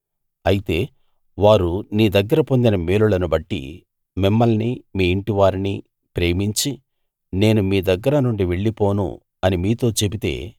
అయితే వారు నీ దగ్గర పొందిన మేలును బట్టి మిమ్మల్ని మీ ఇంటివారిని ప్రేమించి నేను మీ దగ్గర నుండి వెళ్లిపోను అని మీతో చెబితే